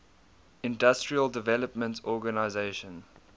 industrial development organization